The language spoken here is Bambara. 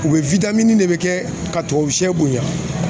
U bɛ min bɛ kɛ ka tubabu sɛ bonya